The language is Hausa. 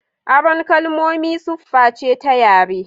Aron kalmomi sufface ta yare.